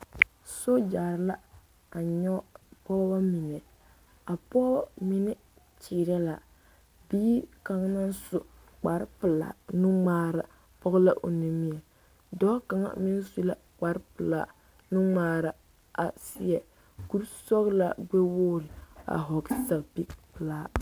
Sogyare la a nyɔge pɔgeba mine a pɔgeba mine kyeemɛ la bie kaŋ naŋ su kpa pelaa nuŋmaara pɔge la o nimie dɔɔ kaŋa meŋ su la kpar pelaa nuŋmaara a seɛ. kuri sɔgelaa nuwoori a hɔgele zapili pelaa